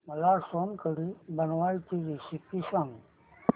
मला सोलकढी बनवायची रेसिपी सांग